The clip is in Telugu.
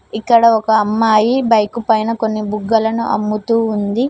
ఇక్కడ ఒక అమ్మాయి బైక్ పైన కొన్ని బుగ్గలను అమ్ముతూ ఉంది.